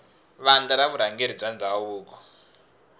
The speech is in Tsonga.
vandla ra vurhangeri bya ndhavuko